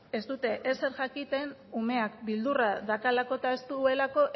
ez dute ezer jakiten umeak beldurra daukalako eta ez dutelako